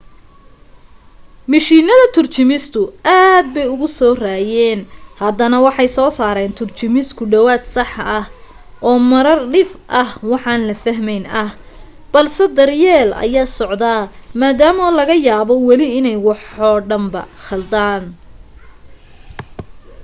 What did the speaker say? mishiinada turjumistu aad bay uga soo reeyeen haddana waxay soo saaraan turjumis ku dhawaad sax ah oo marar dhif ah waxaan la fahmayn ah balse daryeel ayaa soo socda maadaama laga yaabo weli inay waxoo dhanba khaldaan